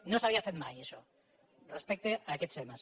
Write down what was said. no s’havia fet mai això respecte a aquests temes